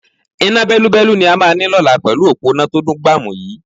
Iná bẹ́lúbẹ́lú ni a máa ní lọ́la pẹ̀lú òpó iná tó dùn gbàmù yii